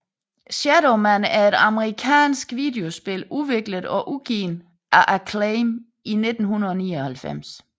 Shadow Man er et amerikansk videospil udviklet og udgivet af Acclaim i 1999